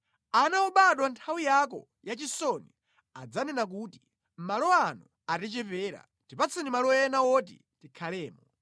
Ana obadwa nthawi yako yachisoni adzanena kuti, ‘Malo ano atichepera, tipatse malo ena woti tikhalemo.’